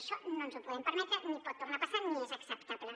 això no ens ho podem permetre ni pot tornar a passar ni és acceptable